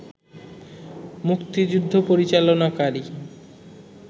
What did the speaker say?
মুক্তিযুদ্ধ পরিচালনাকারী